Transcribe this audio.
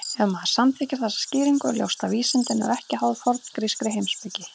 Ef maður samþykkir þessa skýringu er ljóst að vísindi eru ekki háð forngrískri heimspeki.